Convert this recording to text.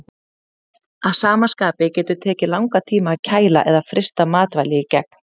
Að sama skapi getur tekið langan tíma að kæla eða frysta matvæli í gegn.